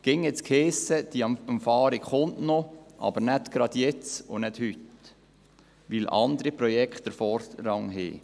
Stets hiess es, diese Umfahrung werde kommen, aber noch nicht jetzt und heute, weil andere Projekte Vorrang hätten.